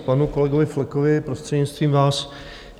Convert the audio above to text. K panu kolegovi Flekovi, prostřednictvím vás.